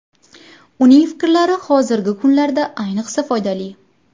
Uning fikrlari hozirgi kunlarda ayniqsa foydali.